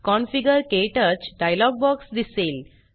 configure - क्टच dialog box दिसेल